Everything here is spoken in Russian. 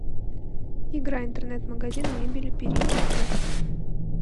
игра интернет магазин мебели перейди в